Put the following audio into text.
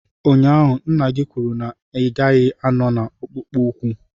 Ụnyaahụ, nna gị kwuru na ị gaghị anọ na akpụkpọ ụkwụ.